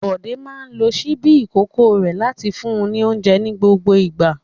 Bọ̀dé máa ń lo ṣíbí ìkókó rẹ̀ láti fún ní oúnjẹ ní gbogbo ìgbà.